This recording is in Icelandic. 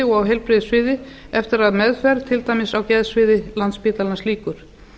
og heilbrigðissviði eftir að meðferð til dæmis á geðsviði landspítalans lýkur